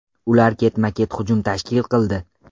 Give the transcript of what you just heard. Ular ketma-ket hujum tashkil qildi.